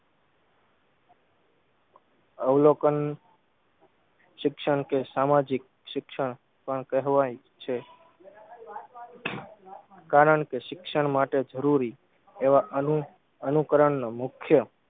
અવલોકન શિક્ષણ કે સામાજિક શિક્ષણ પણ કહેવાય છે કારણ કે શિક્ષણ માટે જરૂરી એવા અનું અનુકરણને મુખ્ય